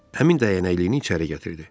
Həmin dəyənəkliyini içəri gətirdi.